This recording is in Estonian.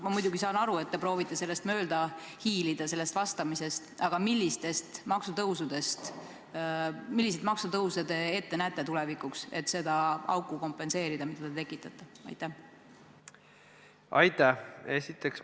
Ma muidugi saan aru, et te proovite sellest vastamisest mööda hiilida, aga milliseid maksutõuse te ette näete, et täita seda auku, mille te tekitate?